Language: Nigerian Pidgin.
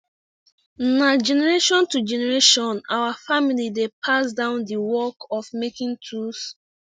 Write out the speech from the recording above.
na generation to generation our family dey pass down the work of making tools